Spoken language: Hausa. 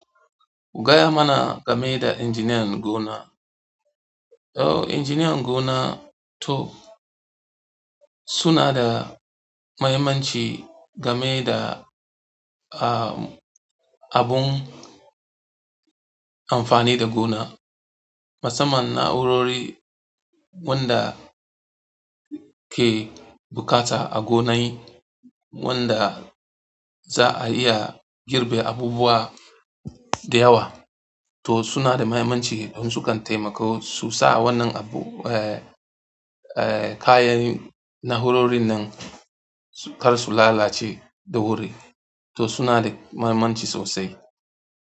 Gaya mana game da injiniyan gona. To injiniyan gona to suna da mahimmanci game da, ah, abun amfani da gona. Musaman naurori wanda ke buƙata a gona wanda za a iya girbe abubuwa da yawa to suna da mahimmanci don sukan taimakawa su sa wannan abu, eh, eh, kayan na'urorin nan kar su lalace da wuri. To suna da mahimmanci sosai.